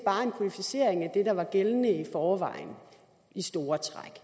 kodificering af det der var gældende i forvejen i store træk